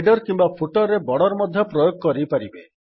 header କିମ୍ୱା footer ରେ border ମଧ୍ୟ ପ୍ରୟୋଗ କରିପାରିବେ